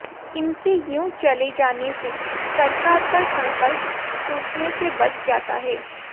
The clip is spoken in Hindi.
इनके यूं चले जाने से सरकार का संकल्प टूटने से बच जाता है